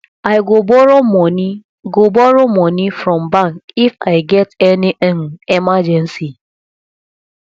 i go borrow money go borrow money from bank if i get any um emergency